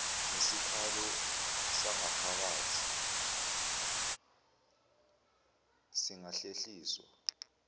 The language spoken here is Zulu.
ngesikhalo sangaphakathi singahlehliswa